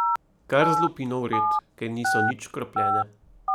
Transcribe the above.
Kar z lupino vred, ker niso nič škropljene.